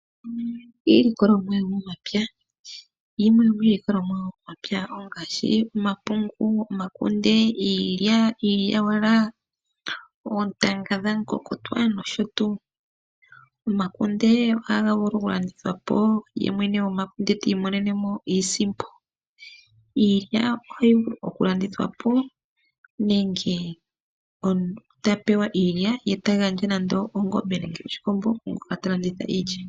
Iilikolomwa yomomapya, yimwe yomiilikolomwa yomomapya ongaashi omapungu, omakunde, iilya, iilyawala ,oontanga dhamukokotwa nosho tuu. Omakunde ohaga vulu okulandithwa po ye mwene gomakunde tiimonene mo iisimpo, iilya ohayi vulu okulandithwa po nenge omuntu tapewa iilya ye tagandja ongombe nenge oshikombo kwaangoka talanditha iilya.